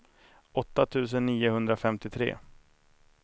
åtta tusen niohundrafemtiotre